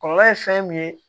Kɔlɔlɔ ye fɛn min ye